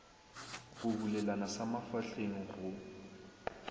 go bulelana sa mafahleng go